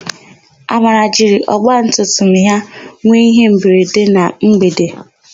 Amara jiri ọgbatumtum ya nwe ihemberede na mgbede.